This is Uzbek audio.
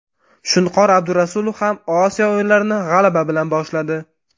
Shunqor Abdurasulov ham Osiyo o‘yinlarini g‘alaba bilan boshladi.